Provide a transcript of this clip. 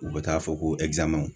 U bɛ taa fɔ ko